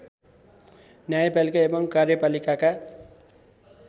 न्यायपालिका एवं कार्यपालिकाका